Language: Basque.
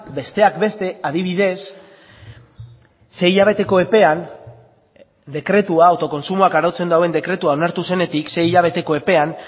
besteak beste adibidez sei hilabeteko epean dekretua autokontsumoak arautzen duen dekretua onartu zenetik sei hilabeteko epean